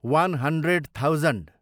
one hundred thousand